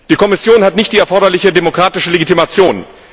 Die Kommission hat nicht die erforderliche demokratische Legitimation.